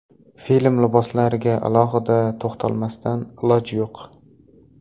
Film liboslariga alohida to‘xtalmasdan iloj yo‘q.